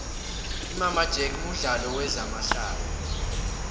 imama jack mudlalo wezama hlaya